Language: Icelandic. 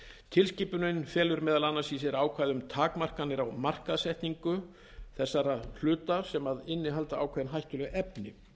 tilskipunin felur meðal annars í sér ákvæði um takmarkanir á markaðssetningu þessar hluta sem innihalda ákveðin hættuleg efni